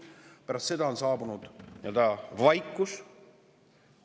Pärast seda on saabunud vaikus.